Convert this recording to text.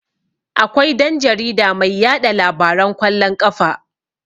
Akwai dan-jarida mai yaɗa labaran kwallon ƙafa.